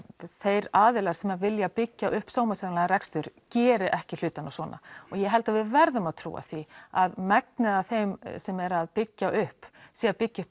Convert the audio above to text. þeir aðilar sem vilja byggja upp sómasamlegan rekstur geri ekki hlutina svona og ég held að við verðum að trúa því að megnið af þeim sem eru að byggja upp séu að byggja upp